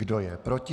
Kdo je proti?